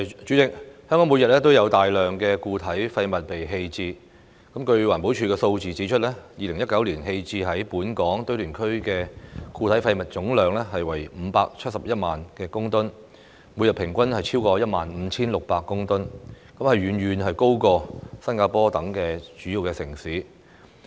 主席，香港每日都有大量固體廢物被棄置，據環保署數字指出 ，2019 年棄置於本港堆填區的固體廢物總量為571萬公噸，每日平均超過 15,600 公噸，遠高於新加坡等主要城市。